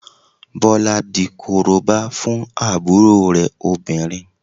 Bọlá di Korobá fún àbúrò rẹ̀ obìnrin